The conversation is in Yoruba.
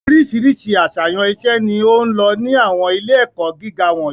Oríṣiríṣi àṣàyàn iṣẹ́ ni ó ń lọ ní àwọn ilé-ẹ̀kọ́ gíga wọ̀nyí.